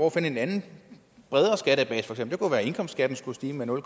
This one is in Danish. at finde en anden bredere skattebase det kunne være at indkomstskatten skulle stige med nul